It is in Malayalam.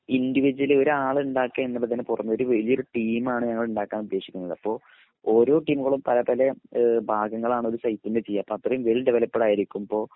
ഇൻഡിവിജുവലി ഒരാൾ ഉണ്ടാക്കെ എന്നുള്ളതിന് പുറമെ ഒരു വലിയ ഒരു ടീം ആണ് ഞങ്ങൾ ഉണ്ടാക്കാൻ ഉദ്ദേശിക്കുന്നത് അപ്പൊ ഓരോ ടീമുകളും പല പല ഏഹ് ഭാഗങ്ങളാണ് ഒരു സൈറ്റിൻ്റെ ചെയ്യേ അപ്പൊ അത്രേം വെൽ ഡെവലപ്പട് ആയിരിക്കുംമ്പോ